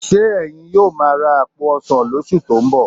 Ṣé ẹ̀yin yóò máa ra àpò òróró lóṣù tó ń bọ̀?